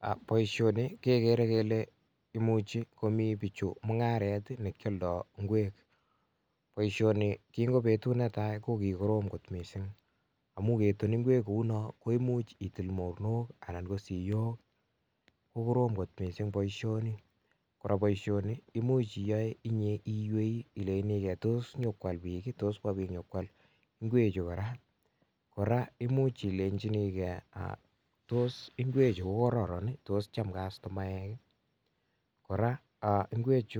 Ak boisioni kegere kele imuchi komi bichu mung'aret ne kioldo ngwek, boisioni en betut netai kokikorom mising amun keton ngwek kou non ko imuch itil mornok anan ko siok. Ko korom kot mising boisioni. Kora boisioni koimuch iyoe inye iywei ilenchinige, tos konyokoal biik ii? Tos kobiit konyokwal ingwechu? Kora imuch ilenjinige tos ngwechu ko koron ii? Tos cham kastomaek ii? Kora ngwech